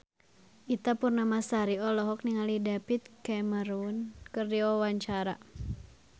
Ita Purnamasari olohok ningali David Cameron keur diwawancara